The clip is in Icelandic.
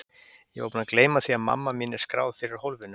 Ég var búin að gleyma því að mamma mín er skráð fyrir hólfinu.